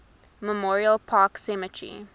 memorial park cemetery